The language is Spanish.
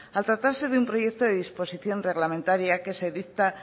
al tratarse de un proyecto de disposición reglamentaria que se dicta